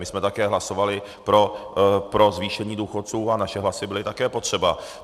My jsme taky hlasovali pro zvýšení důchodcům a naše hlasy byly také potřeba.